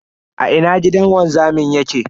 A ina gidan wanzamin yake?